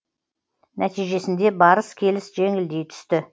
нәтижесінде барыс келіс жеңілдей түсті